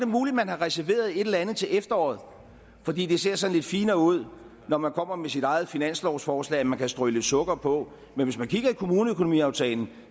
muligt man har reserveret et eller andet til efteråret fordi det ser sådan lidt finere ud når man kommer med sit eget finanslovsforslag at man kan strø lidt sukker på men hvis man kigger i kommuneøkonomiaftalen